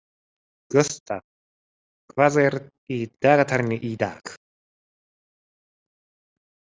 Gústaf, hvað er í dagatalinu í dag?